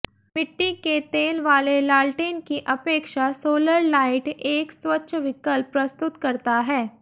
मिट्टी के तेल वाले लाल्टेन की अपेक्षा सोलर लाइट एक स्वच्छ विकल्प प्रस्तुत करता है